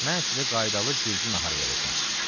Mən sizə qaydalı gürcü naharı verəcəm.